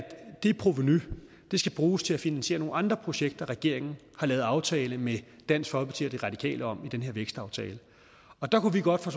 det provenu skal bruges til at finansiere nogle andre projekter regeringen har lavet aftale med dansk folkeparti og de radikale om i den her vækstaftale der kunne vi godt fra